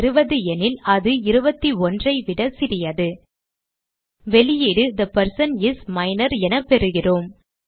20 எனில் அது 21 ஐ விட சிறியது வெளியீடு தே பெர்சன் இஸ் மைனர் என பெறுகிறோம்